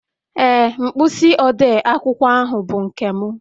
Ee, mkpịsị odee akwụkwọ ahụ bụ nke m